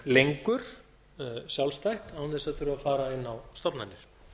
lengur sjálfstætt án þess að þurfa að fara inn á stofnanir